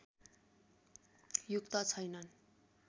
युक्त छैनन्